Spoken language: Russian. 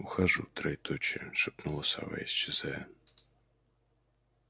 ухожу троеточие шепнула сова исчезая